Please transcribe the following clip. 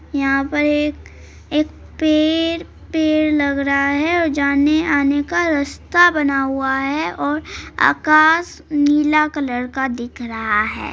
यहाँ पर एक एक पेर पेर लग रहा है और जाने-आने का रास्ता बना हुआ है और आकाश नीला कलर का दिख रहा है।